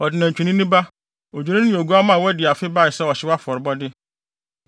ɔde nantwinini ba, odwennini ne oguamma a wadi afe bae sɛ ɔhyew afɔrebɔde.